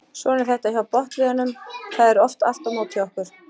Svona er þetta hjá botnliðunum það er oft allt á móti okkur.